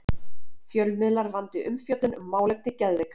Fjölmiðlar vandi umfjöllun um málefni geðveikra